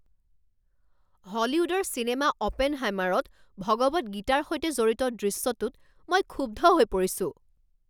হলিউডৰ চিনেমা অপেনহাইমাৰত ভগৱত গীতাৰ সৈতে জড়িত দৃশ্যটোত মই ক্ষুব্ধ হৈ পৰিছো।